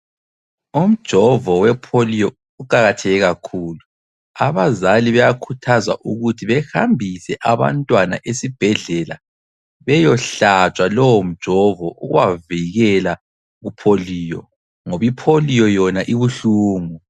Umjovo we polio uqakatheke kakhulu, abazali bayakhuthazwa ukuthi behambise abantwana esibhedlela beyohlatshwa lowo mjovo ukubavikela ku polio, ngoba iPolio yona ibuhlungu.